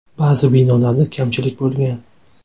Ba’zi binolarda kamchiliklar bo‘lgan.